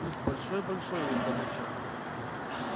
куст большой-большой у богача